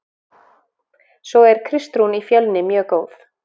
Svo er Kristrún í Fjölni mjög góð.